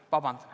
Aitäh!